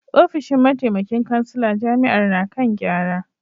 Ofishin mataimakin kansila jami’ar na kan gyara